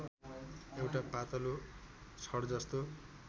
एउटा पातलो छडजस्तो